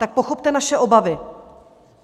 Tak pochopte naše obavy.